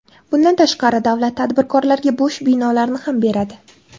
Bundan tashqari, davlat tadbirkorlarga bo‘sh binolarni ham beradi.